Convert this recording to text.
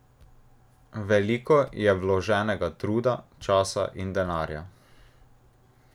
Veliko je vloženega truda, časa in denarja.